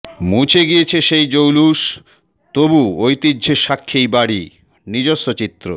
মুছে গিয়েছে সেই জৌলুস তবু ঐতিহ্যের সাক্ষী এই বাড়ি নিজস্ব চিত্র